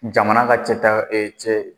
Jamana ka cɛta cɛ